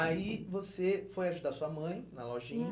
Aí, você foi ajudar sua mãe na lojinha.